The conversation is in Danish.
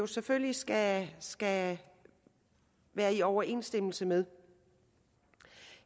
selvfølgelig skal skal være i overensstemmelse med